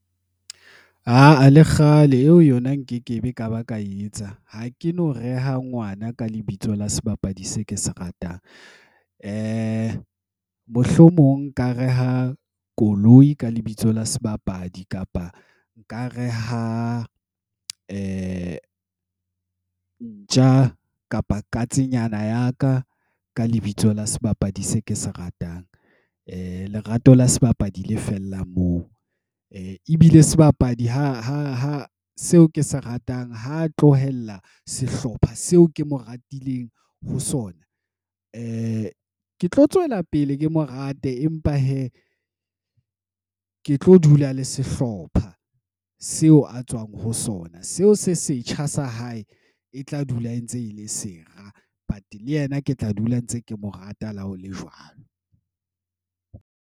Aa le kgale eo yona nkeke be ka ba ka etsa. Ha ke no reha ngwana ka lebitso la sebapadi se ke se ratang. Mohlomong nka reha koloi ka lebitso la sebapadi. Kapa nka reha ntja kapa katsenyana ya ka ka lebitso la sebapadi se ke se ratang. Lerato la sebapadi le fella moo. Ebile sebapadi ha seo ke se ratang ho tlohella sehlopha seo ke mo ratileng ho sona. E ke tlo tswela pele, ke mo rate empa he nka ke tlo dula le sehlopha seo a tswang ho sona. Seo se setjha sa hae, e tla dula e ntse e le sera. But le yena ke tla dula ntse ke mo rata la hole jwang.